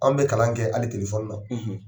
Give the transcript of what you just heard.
Anw bi kalan kɛ hali na